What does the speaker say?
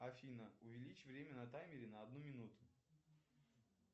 афина увеличь время на таймере на одну минуту